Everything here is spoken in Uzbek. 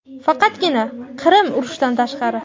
Faqatgina Qirim urushidan tashqari.